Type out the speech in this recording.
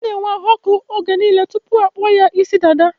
Ọ n'enwe ahụọkụ oge niile tụpụ akpụọ ya ịsị dada